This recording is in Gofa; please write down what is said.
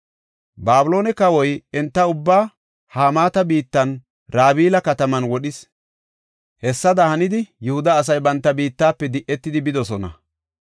Babiloone kawoy enta ubbaa Hamaata biittan Rabila kataman wodhis. Hessada hanidi, Yihuda asay banta biittafe di7etidi bidosona.